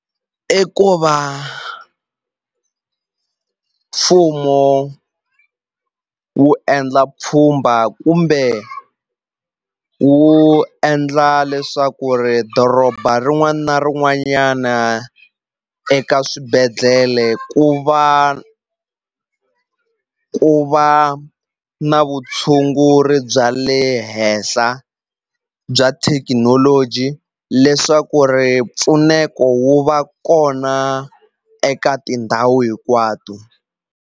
I ku va mfumo wu endla pfhumba kumbe wu endla leswaku ri doroba rin'wana na rin'wanyana eka swibedhlele ku va ku va na vutshunguri bya le henhla bya thekinoloji leswaku ri mpfuneko wu va kona eka tindhawu hinkwato.